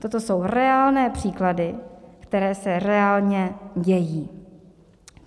Toto jsou reálné příklady, které se reálně dějí.